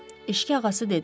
Eşki ağası dedi.